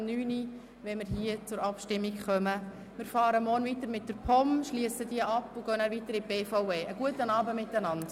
Wir fahren morgen mit den Geschäften der POM weiter, schliessen diese ab und gehen dann weiter zu den Geschäften der BVE.